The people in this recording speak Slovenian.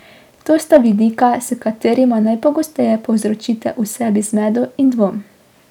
To sta vidika, s katerima najpogosteje povzročite v sebi zmedo in dvom.